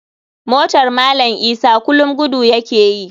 Motar malam isa kulum gudu ya ke yi.